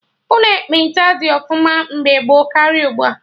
Ụlọ ekpenta dị ọfụma mgbe gboo karịa ugbua